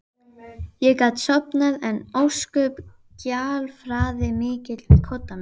Ég gat sofnað en ósköp gjálfraði mikið við koddann minn.